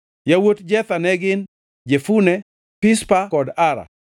Yawuot Jetha ne gin: Jefune, Pispa kod Ara.